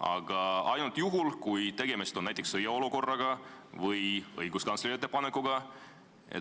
näiteks juhul, kui tegemist on sõjaolukorraga või õiguskantsleri ettepanekuga või muu sellisega.